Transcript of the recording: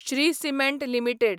Shri cement limited